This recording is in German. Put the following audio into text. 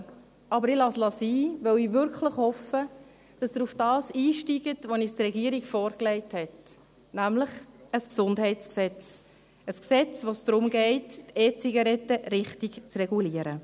Ich lasse es aber sein, weil ich wirklich hoffe, dass Sie auf das einsteigen, was uns die Regierung vorgelegt hat, nämlich ein Gesundheitsgesetz – ein Gesetz, bei dem es darum geht, die E-Zigaretten richtig zu regulieren.